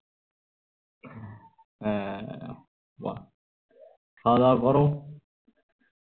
হম বাহ হ্খাওয়া দাওয়া করো